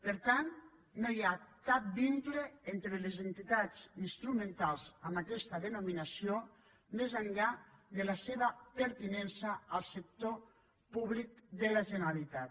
per tant no hi ha cap vincle entre les entitats instrumentals amb aquesta denominació més enllà de la seva pertinença al sector públic de la generalitat